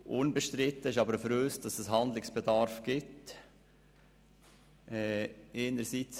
Für uns ist aber unbestritten, dass Handlungsbedarf besteht.